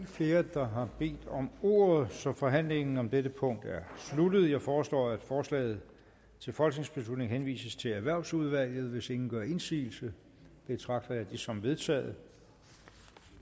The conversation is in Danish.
flere der har bedt om ordet så forhandlingen om dette punkt er sluttet jeg foreslår at forslaget til folketingsbeslutning henvises til erhvervsudvalget hvis ingen gør indsigelse betragter jeg det som vedtaget